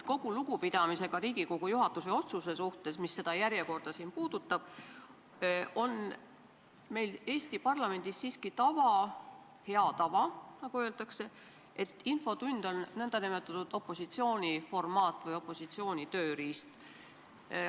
Kogu lugupidamisega Riigikogu juhatuse otsuse suhtes, mis puudutab seda järjekorda siin, on meil Eesti parlamendis siiski hea tava, nagu öeldakse, et infotund on opositsiooni nn tööriist.